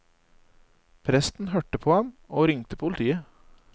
Presten hørte på ham og ringte politiet.